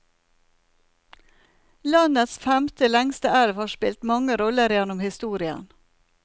Landets femte lengste elv har spilt mange roller gjennom historien.